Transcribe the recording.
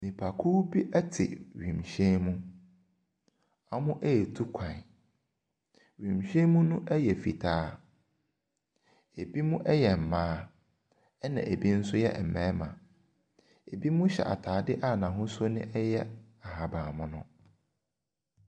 Nnipakuw bi te wiemhyɛn mu. Wɔretu kwan. Wiemhyɛn mu no yɛ fitaa. Ebinom yɛ mmaa ɛnna ebi nso yɛ mmarima. Ebinom hyɛ atade a n'ahosuo no yɛ ahaban mono.